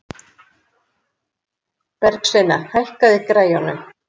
Bergsveina, hækkaðu í græjunum.